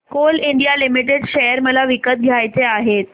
Coal India limited share मला विकत घ्यायचे आहेत